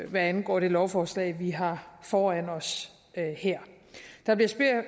hvad angår det lovforslag vi har foran os her der bliver